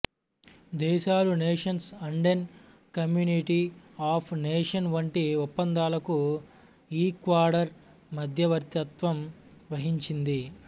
దేశాలు nations Andean community of nations వంటి ఒప్పందాలకు ఈక్వడార్ మద్యవర్తిత్వం వహించింది